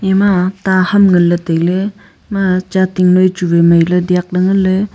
ema ta ham ngan ley tailey ema chating noi chu vai mai ley liak ley nganley.